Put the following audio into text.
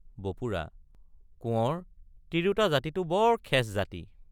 বপুৰা—কোঁৱৰ তিৰোতা জাতিটো বৰ খেচ জাতি।